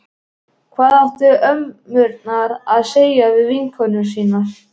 Hvað áttu ömmurnar að segja við vinkonur sínar?